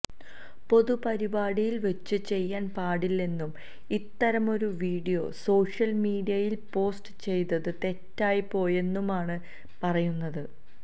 പൊതു പരിപാടിയിൽ വച്ച് ചെയ്യാൻ പാടില്ലെന്നും ഇത്തരമൊരു വീഡിയോ സോഷ്യൽ മീഡിയയിൽ പോസ്റ്റ് ചെയ്തത് തെറ്റായി പോയെന്നുമാണ് പറയുന്നത്